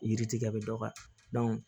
Yiri tigɛ bɛ dɔgɔya